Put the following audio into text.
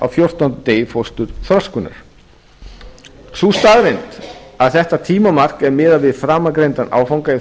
fjórtánda degi fósturþroskunar sú staðreynd að þetta tímamark er miðað við framangreindan áfanga í